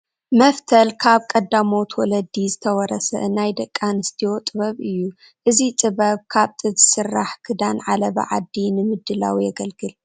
መፍተል ካብ ቀዳሞት ወለዲ ዝተወረሰ ናይ ደቂ ኣንስትዮ ጥበብ እዩ፡፡ እዚ ጥበብ ካብ ጥጥ ዝስራሕ ክዳን ዓለባ ዓዲ ንምድላው የግልግል፡፡